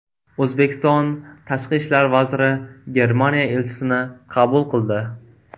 O‘zbekiston Tashqi ishlar vaziri Germaniya elchisini qabul qildi.